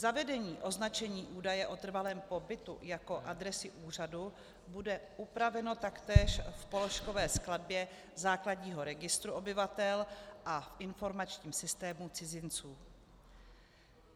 Zavedení označení údaje o trvalém pobytu jako adresy úřadu bude upraveno taktéž v položkové skladbě základního registru obyvatel a v informačním systému cizinců.